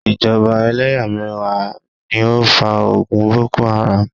Ìjọba eléyàméyà ni ó fa ogun Boko Haram